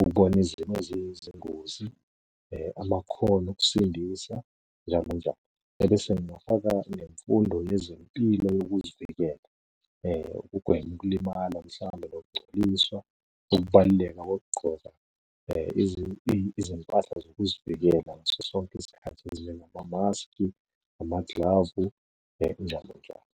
ukubona izimo eziyizingozi, amakhono okusindisa njalo njani. Ebese ngingafaka nemfundo yezempilo yokuzivikela kugwenywe ukulimala mhlawumbe nokungcoliswa ukubaluleka kokugqoka izimpahla zokuzivikela ngaso sonke isikhathi ezinjengamamaskhi, amaglavu, njalo njalo.